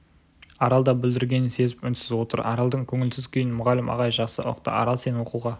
арал да бүлдіргенін сезіп үнсіз отыр аралдың көңілсіз күйін мұғалім ағай жақсы ұқты арал сен оқуға